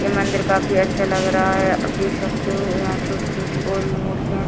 ये मंदिर काफी अच्छा लग रहा हैं आप देख सकते हो यहाँ छोटी-छोटी और भी मूर्तियाँ है।